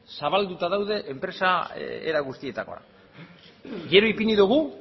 zabalduta daude enpresa era guztietakoak gero ipini dugu